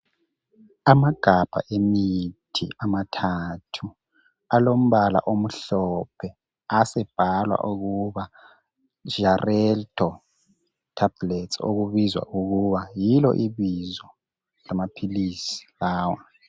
Amagabha emithi amathathu alombala omhlophe asebhalwa ukuba Xarelto tablets okulibizo lawo.